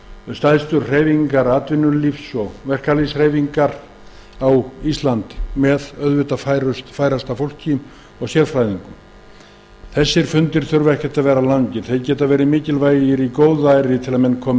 stærstu hreyfingar atvinnulífs og verkalýðs á íslandi með sérfræðingum og því færasta fólki sem völ er á fundirnir þurfa ekkert að vera langir þeir geta verið mikilvægir í góðæri til að menn komi